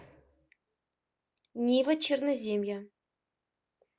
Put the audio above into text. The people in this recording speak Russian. нива черноземья